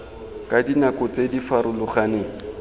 ka dinako tse di farologaneng